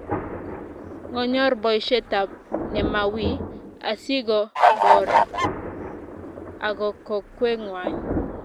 ngonyor boishetab nemawiiy asigoboor ago kokwengwai